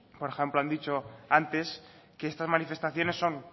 por ejemplo han dicho antes que estas manifestaciones son